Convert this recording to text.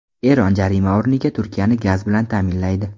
Eron jarima o‘rniga Turkiyani gaz bilan ta’minlaydi.